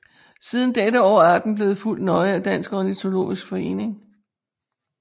Siden dette år er arten blevet fulgt nøje af Dansk Ornitologisk Forening